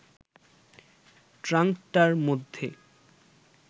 ট্রাঙ্কটার মধ্যে